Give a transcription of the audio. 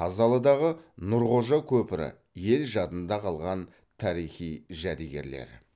қазалыдағы нұрқожа көпірі ел жадында қалған тарихи жәдігерлер